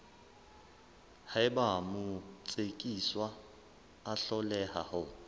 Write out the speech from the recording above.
haeba motsekiswa a hloleha ho